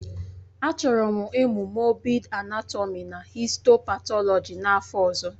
Achọrọ m ịmụ moobid anátọmi na histo-patọlọji n'afọ ọzọ